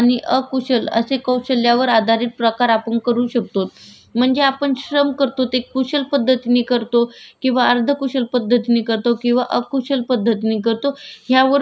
किंवा अर्धकुशल पद्धतीने करतो किंवा कुशल पद्धतीने करतो यावरून श्रमाचे प्रकार ठरले जातात शिक्षकांचे चित्रकलाच्याने लेखकाच्या कार्याला कुशल श्रम म्हणलं जात.